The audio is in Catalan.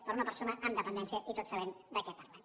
per a una persona amb dependència i tots sabem de què parlem